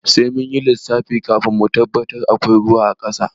Sai munyi lissafi kafin mu tabbatar akwai ruwa a ƙasa.